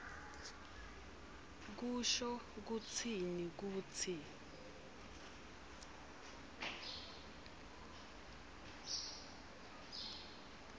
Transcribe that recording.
kusho kutsini kutsi